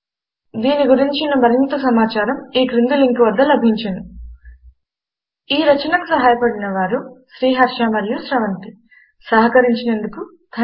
దీని గురించిన మరింత సమాచారము ఈ క్రింది లింకు వద్ద లభించును ఈ రచనకు సహాయపడినవారు శ్రీహర్ష అనువాదం చేసినవారి పేరు మరియు స్రవంతి రికార్డ్ చేసినవారి పేరు బళ్ళారి